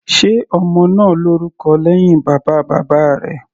Ṣọ ọmọ náà lórúkọ lẹ́hìn bàbá bàbá rẹ̀.